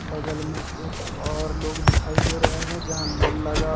बगल में एक और लोग दिखाई दे रहे हैं जहां नल लगा --